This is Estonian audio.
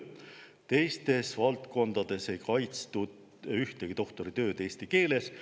Teistes valdkondades ei kaitstud ühtegi doktoritööd eesti keeles.